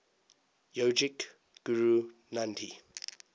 yogic guru nandhi